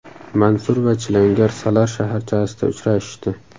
Mansur va chilangar Salar shaharchasida uchrashishdi.